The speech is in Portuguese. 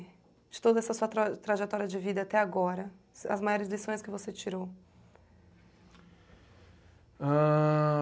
De toda essa sua tra trajetória de vida até agora, as maiores lições que você tirou?